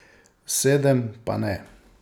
Sedem pa ne.